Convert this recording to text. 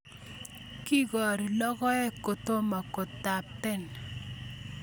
Kikori logoek kotomo kotapton